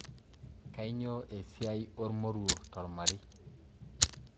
Kanyio esiai ormoruo tormarei?